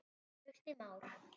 Trausti Már.